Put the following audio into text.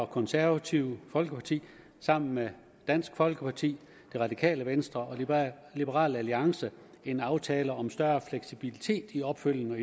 konservative folkeparti sammen med dansk folkeparti det radikale venstre og liberal alliance en aftale om større fleksibilitet i opfølgning og